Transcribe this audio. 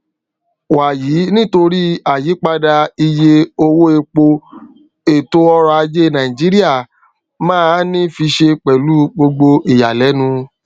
wàyí nitori àyípadà iye owó epo ètò ọrọ ajé nàìjíríà máa ní fiṣe pẹlú gbogbo ìyàlénu